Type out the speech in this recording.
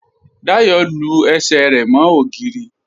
Dáyọ lú ẹṣẹ̀ rẹ mo ogìrì